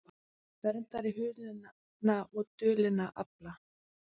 Verndari hulinna og dulinna afla